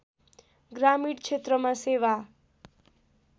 ग्रामीण क्षेत्रमा सेवा